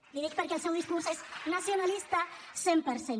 l’hi dic perquè el seu discurs és nacionalista cent per cent